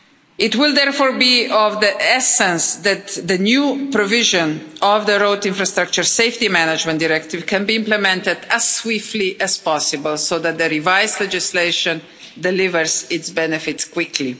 It will therefore be of the essence that the new provisions of the Road Infrastructure Safety Management Directive can be implemented as swiftly as possible so that the revised legislation delivers its benefits quickly.